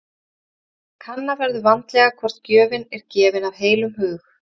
Kanna verður vandlega hvort gjöfin er gefin af heilum hug.